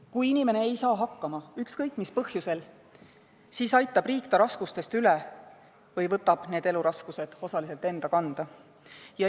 Kui inimene ei saa hakkama, ükskõik mis põhjusel, siis aitab riik ta raskustest üle või võtab need eluraskused osaliselt enda kanda.